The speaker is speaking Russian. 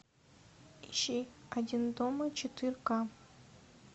ищи один дома четыре ка